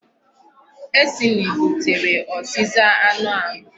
Acne butere ọzịza anụ ahụ.